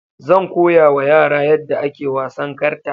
Zan koyawa yara yadda ake wasan karta